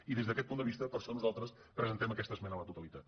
i des d’aquest punt de vista per això nosaltres presentem aquesta esmena a la totalitat